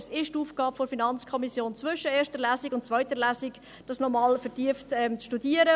Es ist die Aufgabe der FiKo, diese zwischen der ersten und zweiten Lesung noch einmal vertieft zu studieren.